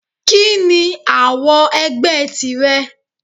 Kí ni àwo ẹgbẹ́ tìrẹ?